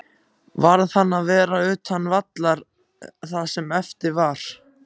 Varð hann að vera utan vallar það sem eftir var?